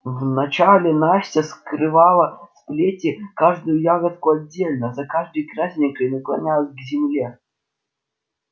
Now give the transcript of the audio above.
вначале настя скрывала с плети каждую ягодку отдельно за каждой красненькой наклонялась к земле